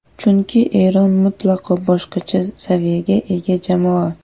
Chunki Eron mutlaqo boshqacha saviyaga ega jamoa.